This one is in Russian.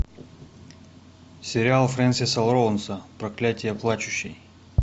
сериал фрэнсиса лоуренса проклятье плачущей